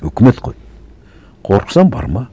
өкімет қой қорықсаң барма